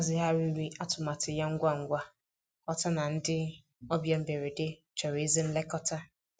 Ọ hazigharịrị atụmatụ ya ngwa ngwa, ghọta na ndị ọbịa mberede chọrọ ezi nlekọta.